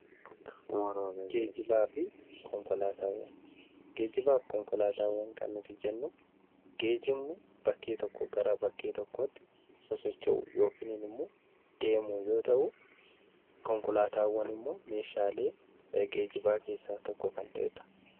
Geejjibaa fi konkolaataawwan kan nuti jennuun geejjibni bakkee tokkoo gara bakkee tokkootti socho'uu yookiin immoo deemuu yoo ta'u, konkolaataawwan immoo meeshaalee geejjibaa keessaa tokko kan ta'edha.